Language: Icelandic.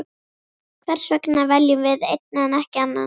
Hversvegna veljum við einn en ekki annan?